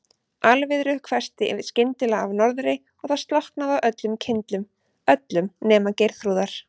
Alviðru hvessti skyndilega af norðri og það slokknaði á öllum kyndlum, öllum nema Geirþrúðar.